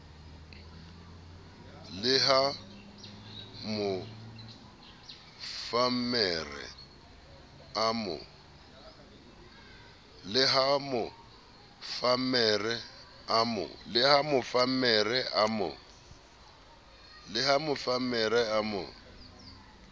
le ha mofammere a mo